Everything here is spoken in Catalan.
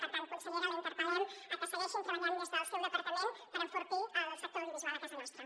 per tant consellera la interpel·lem perquè segueixin treballant des del seu depar·tament per enfortir el sector audiovisual a casa nostra